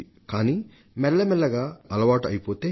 కానీ నెమ్మది నెమ్మదిగా అలవాటు అయిపోతే